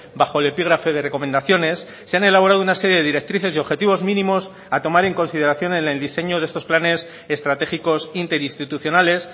bajo el epígrafe de recomendaciones se han elaborado una serie de directrices y objetivos mínimos a tomar en consideración en el diseño de estos planes estratégicos interinstitucionales